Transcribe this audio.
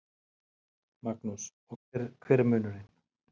Magnús: Hver er munurinn?